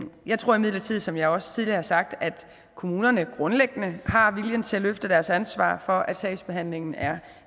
jeg tror imidlertid som jeg også tidligere har sagt at kommunerne grundlæggende har viljen til at løfte deres ansvar for at sagsbehandlingen er